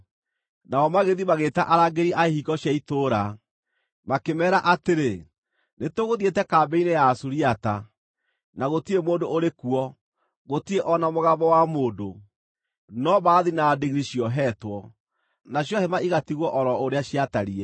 Nao magĩthiĩ magĩĩta arangĩri a ihingo cia itũũra, makĩmeera atĩrĩ, “Nĩtũgũthiĩte kambĩ-inĩ ya Asuriata, na gũtirĩ mũndũ ũrĩ kuo, gũtirĩ o na mũgambo wa mũndũ, no mbarathi na ndigiri ciohetwo, nacio hema igatigwo o ro ũrĩa ciatariĩ.”